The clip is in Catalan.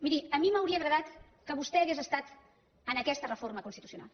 miri a mi m’hauria agradat que vostè hagués estat en aquesta reforma constitucional